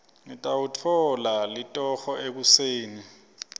ngitawutfola litoho ekuseni